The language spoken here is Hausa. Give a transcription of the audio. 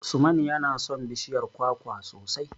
Usman yana son bishiyar kwakwa sosai.